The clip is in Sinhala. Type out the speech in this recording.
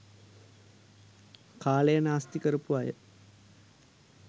කාලය නාස්ති කරපු අය